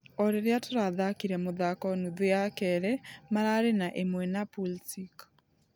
Ũrĩrĩa tũrathakire mũthako nuthu ya kerĩ , mararĩ na ....ĩmwe na pulsic.